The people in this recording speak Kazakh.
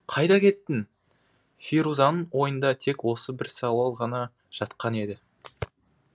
қайда кеттің ферузаның ойында тек осы бір сауал ғана жатқан еді